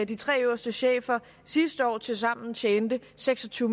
de tre øverste chefer sidste år tilsammen tjene seks og tyve